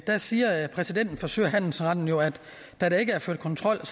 der siger præsidenten for sø og handelsretten jo at da der ikke er ført kontrol